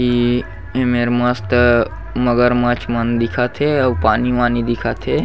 इ एमेर मस्त मगरमछ मन दिखत हे अउ पानी वानी दिखत हे ।--